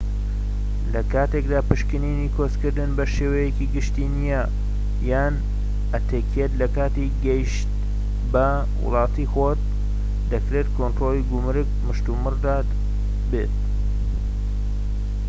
لە کاتێکدا پشکنینی کۆچ کردن بە شێوەیەکی گشتی نیە یان ئەتیکێت لە کاتی گەیشت بە وڵاتی خۆت دەکرێت کۆنترۆڵی گومرگ مشتومڕدار بێت